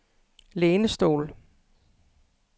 lænestol